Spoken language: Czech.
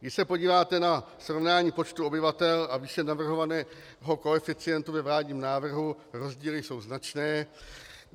Když se podíváte na srovnání počtu obyvatel a výši navrhovaného koeficientu ve vládním návrhu, rozdíly jsou značné.